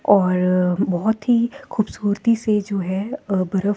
और बहोत ही खूबसूरती से जो है अ परफ़--